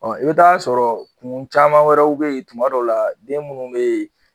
i bɛ taa sɔrɔ kun caman wɛrɛw bɛ ye tuma dɔ la den minnu bɛ ye